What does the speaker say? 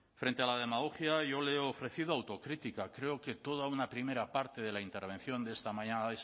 frente a la demagogia yo le he ofrecido autocrítica creo que toda una primera parte de la intervención de esta mañana